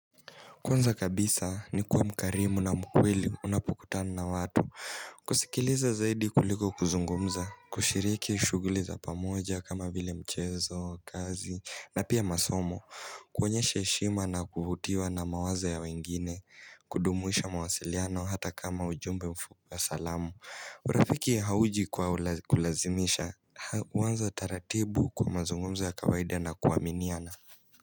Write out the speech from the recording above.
Kwanza kabisa nikua mkarimu na mkweli unapukutana na watu Kusikileza zaidi kuliko kuzungumza kushiriki shuguli za pamoja kama vile mchezo kazi na pia masomo Kuonyeshe shima na kuvutiwa na mawaza ya wengine kudumuisha mawasiliano hata kama ujumbe mfuku ya salamu urafiki hauji kulazimisha Uwanza taratibu kwa mazungumza ya kawaida na kuaminiana.